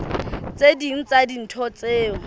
tse ding tsa dintho tseo